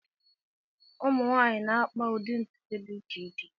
Ụmụ nwanyị na-akpa ụdị ntutu dị iche iche.